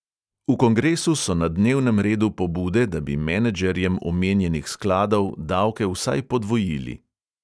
V kongresu so na dnevnem redu pobude, da bi menedžerjem omenjenih skladov davke vsaj podvojili.